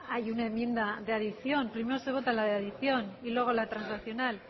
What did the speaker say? hay una enmienda de adición primero se vota la de adición y luego la transaccional